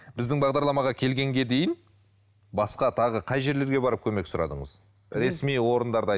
біздің бағдарламаға келгенге дейін басқа тағы қай жерлерге барып көмек сұрадыңыз ресми орындарды